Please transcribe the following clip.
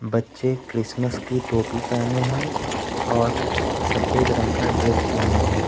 बच्चे क्रिसमस की टोपी पहने हैं और सफेद रंग का ड्रेस पहने हैं।